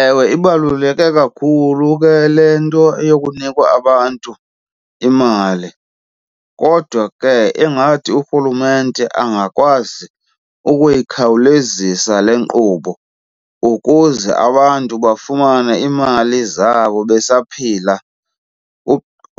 Ewe, ibaluleke kakhulu ke le nto yokunikwa abantu imali kodwa ke ingathi urhulumente angakwazi ukuyikhawulezisa le nkqubo ukuze abantu bafumane iimali zabo besaphila.